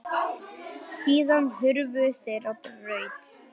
Síðan hurfu þeir á braut.